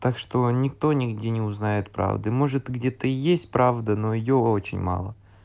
так что никто нигде не узнает правды может где-то и есть правда но её очень мало